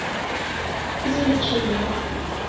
извлечение